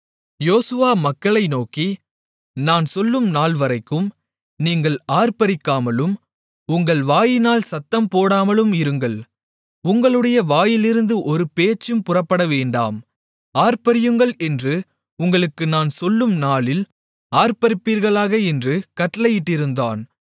யோசுவா மக்களை நோக்கி நான் சொல்லும் நாள் வரைக்கும் நீங்கள் ஆர்ப்பரிக்காமலும் உங்கள் வாயினால் சத்தம் போடாமலும் இருங்கள் உங்களுடைய வாயிலிருந்து ஒரு பேச்சும் புறப்படவேண்டாம் ஆர்ப்பரியுங்கள் என்று உங்களுக்கு நான் சொல்லும் நாளில் ஆர்ப்பரிப்பீர்களாக என்று கட்டளையிட்டிருந்தான்